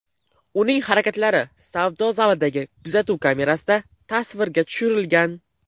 Uning harakatlari savdo zalidagi kuzatuv kamerasida tasvirga tushirilgan.